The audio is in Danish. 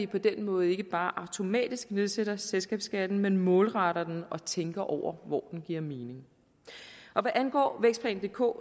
på den måde ikke bare automatisk nedsætter selskabsskatten men målretter den og tænker over hvor den giver mening hvad angår vækstplan dk